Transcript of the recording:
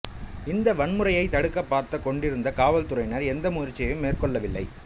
இந்த வன்முறையை தடுக்கப் பார்த்துக் கொண்டிருந்த காவற்துறையினர் எந்த முயற்சியையும் மேற்கொள்ளவில்லை